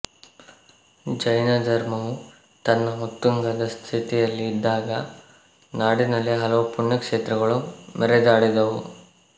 ಜೈನ ಧರ್ಮವು ತನ್ನ ಉತ್ತುಂಗದ ಸ್ಥಿತಿಯಲ್ಲಿ ಇದ್ದಾಗ ನಾಡಿನಲ್ಲಿ ಹಲವು ಪುಣ್ಯ ಕ್ಷೇತ್ರಗಳು ಮೆರೆದಾಡಿದವು